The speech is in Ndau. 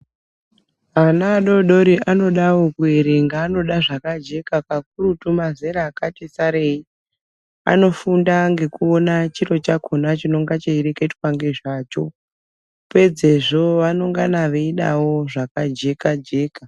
Ana adodori anodawo kuerenga anoda zvakajeka ,kakurutu mazera akati sarei anofunda ngekuona chiro chakona chinonga cheireketwa ngezvacho, pedzezvo vanoingana veidawo zvakajeka-jeka.